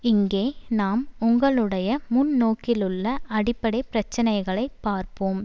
இங்கே நாம் உங்களுடைய முன்னோக்கிலுள்ள அடிப்படை பிரச்சனைகளை பார்ப்போம்